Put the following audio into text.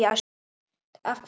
Af hvaða ástæðu?